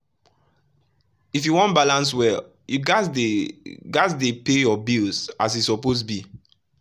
if you wan balance well you gats dey gats dey pay your bills as e suppose be.